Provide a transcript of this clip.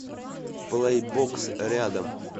плэйбокс рядом